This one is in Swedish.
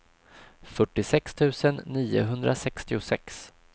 fyrtiosex tusen niohundrasextiosex